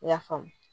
I y'a faamu